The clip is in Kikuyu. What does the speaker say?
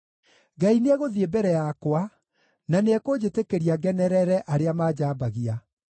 Ngai nĩegũthiĩ mbere yakwa, na nĩekũnjĩtĩkĩria ngenerere arĩa manjambagia.